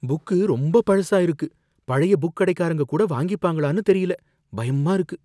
Book ரொம்ப பழசா இருக்கு. பழைய புக் கடைக்காரங்க கூட வாங்கிப்பாங்களான்னு தெரியல! பயமா இருக்கு.